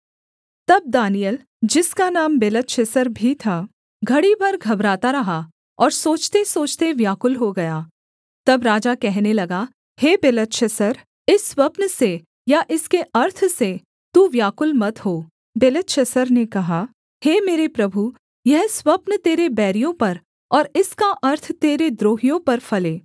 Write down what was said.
तब दानिय्येल जिसका नाम बेलतशस्सर भी था घड़ी भर घबराता रहा और सोचतेसोचते व्याकुल हो गया तब राजा कहने लगा हे बेलतशस्सर इस स्वप्न से या इसके अर्थ से तू व्याकुल मत हो बेलतशस्सर ने कहा हे मेरे प्रभु यह स्वप्न तेरे बैरियों पर और इसका अर्थ तेरे द्रोहियों पर फले